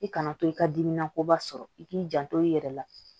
I kana to i ka dimi na koba sɔrɔ i k'i janto i yɛrɛ la